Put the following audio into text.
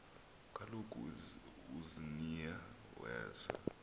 kaloku uziniya weza